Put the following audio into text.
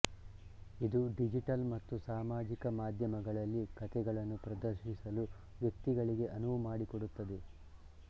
ಇದು ಡಿಜಿಟಲ್ ಮತ್ತು ಸಾಮಾಜಿಕ ಮಾಧ್ಯಮಗಳಲ್ಲಿ ಕಥೆಗಳನ್ನು ಪ್ರದರ್ಶಿಸಲು ವ್ಯಕ್ತಿಗಳಿಗೆ ಅನುವು ಮಾಡಿಕೊಡುತ್ತದೆ